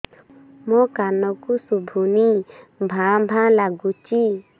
ମୋ କାନକୁ ଶୁଭୁନି ଭା ଭା ଲାଗୁଚି